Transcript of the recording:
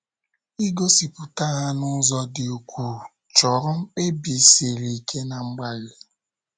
Igosipụta ha n’ụzọ dị ukwuu, chọrọ mkpebi siri ike na mgbalị.